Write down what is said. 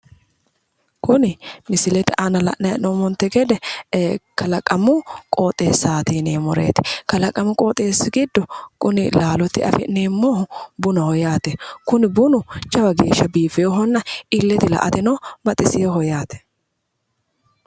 kuni misilete aana la'nanni hee'noommonte gede kalaqamu qooxeessaati yineemmoreeti kalaqamu qooxeessi giddo laalotenni afi'neemmohu bunaho yaate kuni bunu jawa geya biifinohonna illetenni la'ateno baxiseeho.